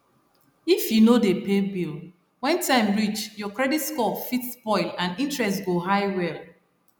if you no dey pay bill when time reach your credit score fit spoil and interest go high well